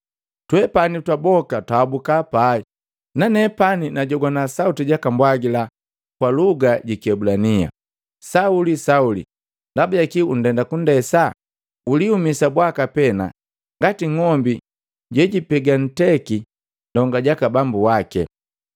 Twepani twaboka twaabukaa pai, nanepani najogwana sauti jaka mbwagila kwa luga ji kiebulania, ‘Sauli, Sauli! Ndabajaki utenda kundesa? Uliumisa bwaka pena ngati ngombi jejipega nteki ndonga jaka bambu wake.’